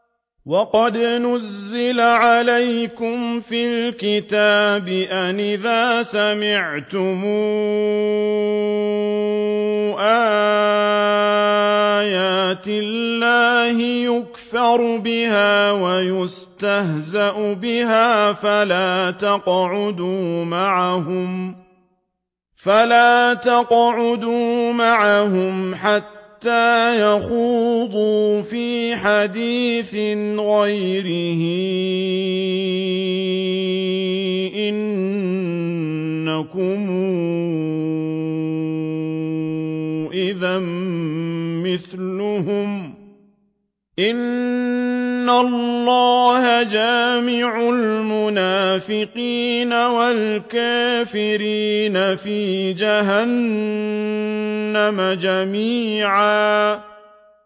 وَقَدْ نَزَّلَ عَلَيْكُمْ فِي الْكِتَابِ أَنْ إِذَا سَمِعْتُمْ آيَاتِ اللَّهِ يُكْفَرُ بِهَا وَيُسْتَهْزَأُ بِهَا فَلَا تَقْعُدُوا مَعَهُمْ حَتَّىٰ يَخُوضُوا فِي حَدِيثٍ غَيْرِهِ ۚ إِنَّكُمْ إِذًا مِّثْلُهُمْ ۗ إِنَّ اللَّهَ جَامِعُ الْمُنَافِقِينَ وَالْكَافِرِينَ فِي جَهَنَّمَ جَمِيعًا